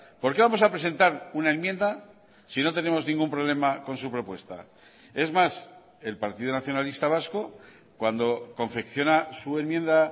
por qué vamos a presentar una enmienda si no tenemos ningún problema con su propuesta es más el partido nacionalista vasco cuando confecciona su enmienda